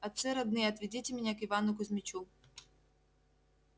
отцы родные отведите меня к ивану кузмичу